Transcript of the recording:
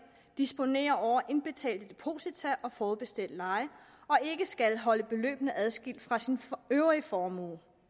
disponerer over indbetalte deposita og forudbetalt leje og ikke skal holde beløbene adskilt fra sin øvrige formue